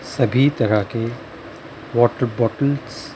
सभी तरह के वाटर बॉटल्स --